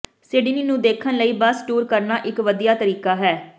Sydney ਨੂੰ ਦੇਖਣ ਲਈ ਬੱਸ ਟੂਰ ਕਰਨਾ ਇੱਕ ਵਧੀਆ ਤਰੀਕਾ ਹੈ